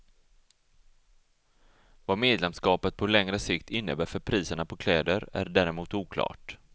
Vad medlemskapet på längre sikt innebär för priserna på kläder är däremot oklart.